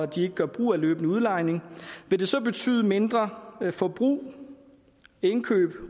de ikke gør brug af løbende udlejning vil det så betyde mindre forbrug indkøb